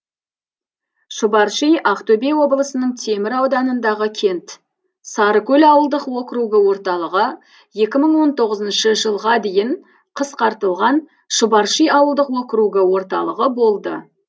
шұбарши ақтөбе облысының темір ауданындағы кент сарыкөл ауылдық округі орталығы екі мың он тоғызыншы жылға дейін қысқартылған шұбарши ауылдық округі орталығы болды